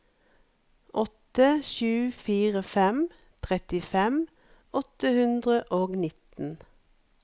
åtte sju fire fem trettifem åtte hundre og nitten